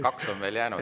Kaks on veel jäänud.